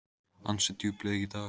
Ansi djúp laug í dag.